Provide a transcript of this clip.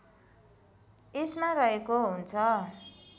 यसमा रहेको हुन्छ